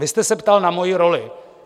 Vy jste se ptal na moji roli.